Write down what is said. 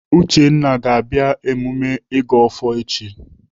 Uchenna ga-abịa emume ịgọ ọfọ echi.